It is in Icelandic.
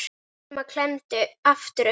Selma klemmdi aftur augun.